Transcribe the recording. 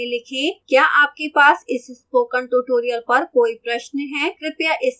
क्या आपके पास इस spoken tutorial पर कोई प्रश्न है कृपया इस साइट पर जाएं